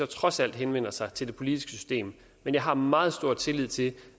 trods alt henvender sig til det politiske system men jeg har meget stor tillid til